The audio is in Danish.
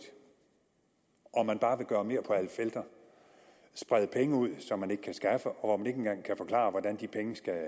og man bare vil gøre mere på alle felter sprede penge ud som man ikke kan skaffe og når man ikke engang kan forklare hvordan de penge skal